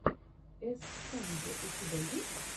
эс санди у тебя есть